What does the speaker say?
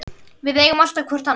Við eigum alltaf hvort annað.